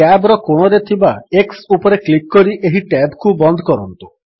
tab ର କୋଣରେ ଥିବା x ଉପରେ କ୍ଲିକ୍ କରି ଏହି ଟ୍ୟାବ୍ କୁ ବନ୍ଦ କରନ୍ତୁ